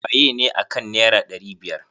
Wayene akan naira ɗari biyar?